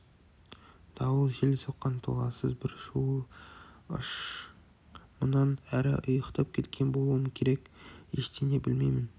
дауыл жел соққан толассыз бір шуыл ыш-ш мұнан әрі ұйықтап кеткен болуым керек ештеңені білмеймін